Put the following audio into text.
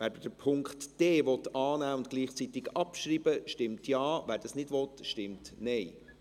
Wer den Punkt d annehmen und gleichzeitig abschreiben will, stimmt Ja, wer das nicht will, stimmt Nein.